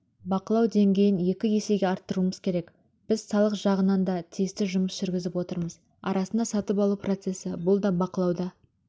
бақылау деңгейін екі есеге арттыруымыз керек біз салық жағынанда тиісті жұмыс жүргізіп отырмыз арасында сатып алу процесі бұлда бақылауда